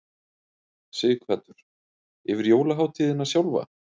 Sighvatur: Yfir jólahátíðina sjálfa?